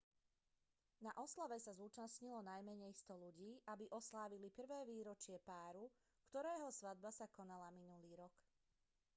na oslave sa zúčastnilo najmenej 100 ľudí aby oslávili prvé výročie páru ktorého svadba sa konala minulý rok